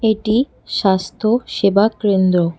এটি স্বাস্থ্য সেবা ক্রেন্দ্র ।